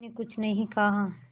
मैंने कुछ नहीं कहा